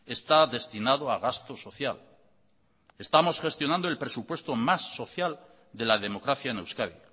está destinado a gasto social estamos gestionando el presupuesto más social de la democracia en euskadi